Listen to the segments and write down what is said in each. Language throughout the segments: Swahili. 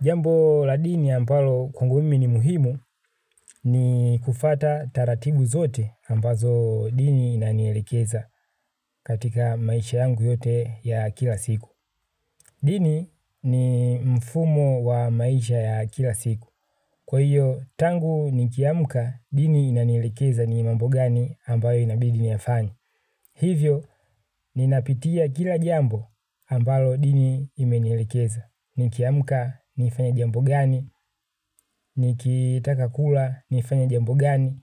Jambo la dini ambalo kwangumimi ni muhimu ni kufuata taratibu zote ambazo dini inanielekeza katika maisha yangu yote ya kila siku. Dini ni mfumo wa maisha ya kila siku. Kwa hiyo, tangu ni kiamka dini inanielekeza ni mambo gani ambayo inabidi niyafanye. Hivyo, ninapitia kila jambo ambalo dini imenielekeza. Nikiamka nifanye jambo gani, nikitaka kula nifanye jambo gani,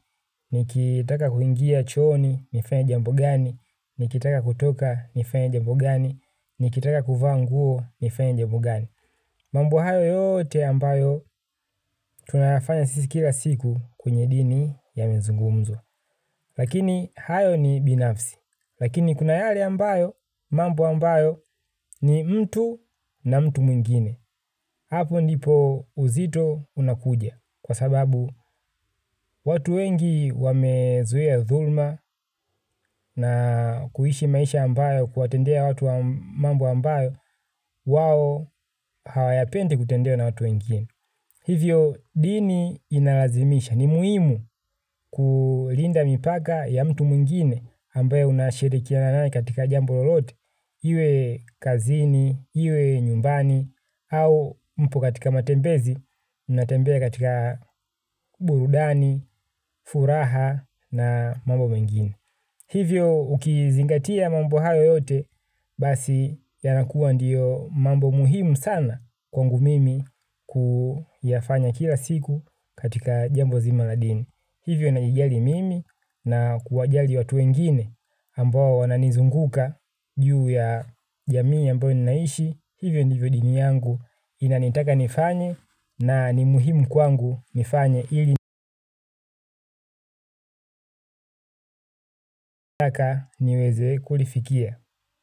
nikitaka kuingia chooni nifanye jambo gani, nikitaka kutoka nifanye jambo gani, nikitaka kuvaa nguo nifanye jambo gani. Mambo hayo yote ambayo tunayafanya sisi kila siku kwenye dini yamezungumzwa. Lakini hayo ni binafsi, lakini kunayale ambayo, mambo ambayo ni mtu na mtu mwingine. Hapo ndipo uzito unakuja kwa sababu watu wengi wamezuia dhulma na kuishi maisha ambayo kuwatendea watu mambo ambayo wao hawayapendi kutendewa na watu wengine. Hivyo dini inalazimisha ni muhimu kulinda mipaka ya mtu mwingine ambaye unashirikiana naye katika jambololote, iwe kazini, iwe nyumbani, au mpo katika matembezi, natembea katika burudani, furaha na mambo mengine. Hivyo ukizingatia mambo hayo yote basi yanakuwa ndiyo mambo muhimu sana kwangu mimi kuyafanya kila siku katika jambo nzima la dini. Hivyo naijali mimi na kuwajali watu wengine ambao wananizunguka juu ya jamii ambayo ninaishi. Hivyo ndivyo dini yangu inanitaka nifanye na ni muhimu kwangu nifanye ili nitaka niweze kulifikia.